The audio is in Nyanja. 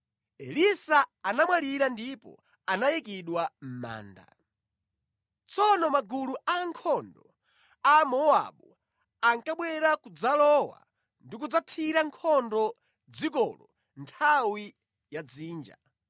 Elisa anamwalira ndipo anayikidwa mʼmanda. Tsono magulu a ankhondo a Amowabu ankabwera kudzalowa ndi kudzathira nkhondo dzikolo nthawi ya dzinja.